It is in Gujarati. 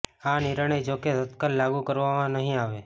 આ નિર્ણય જોકે તત્કાલ લાગુ કરવામાં નહિ આવે